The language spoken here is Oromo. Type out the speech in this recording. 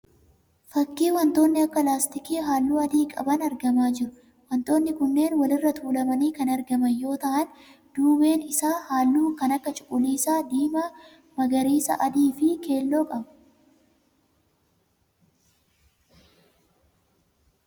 Fakkii wantoonni akka laastikii halluu adii qaban argamaa jiru. Wantoonni kunneen wal irra tuulamanii kan argaman yoo ta'aan duubeen isaa halluu kan akka cuquliisa, diimaa, magariisa, adii fi keelloo qaba.